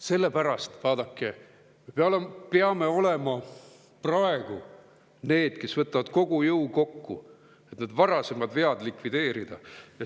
Selle pärast, vaadake, me peame olema praegu need, kes võtavad kogu jõu kokku, et need varasemad vead likvideerida.